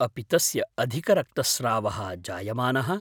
अपि तस्य अधिकरक्तस्रावः जायमानः?